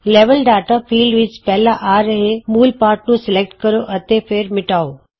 level data field ਵਿਚ ਪਹਿਲਾਂ ਆ ਰਹੇ ਮੂਲ ਪਾਠ ਨੂੰ ਸਲੈਕਟ ਕਰੋ ਅਤੇ ਫਿਰ ਮਿਟਾਉ